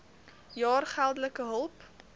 jaar geldelike hulp